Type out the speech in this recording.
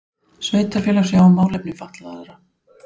Sveitarfélög sjá um málefni fatlaðra